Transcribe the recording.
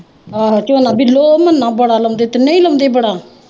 ਹਮ ਝੋਨਾ ਬਿੱਲੋ ਔਰ ਮੰਨ੍ਹਾ ਬੜਾ ਲਾਉਂਦੇ, ਤਿੰਨੇ ਈ ਲਾਉਂਦੇ ਬੜਾ।